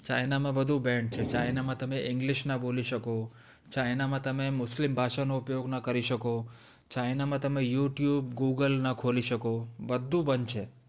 china માં બધું ban છે ત્યાં તમે english ના બોલી શકો china માં તમે મુસ્લિમ ભાષા નો ઉપયોગ ના કરી શકો china માં ત્યાં youtub, google ના ખોલી શકો બધું બંધ છે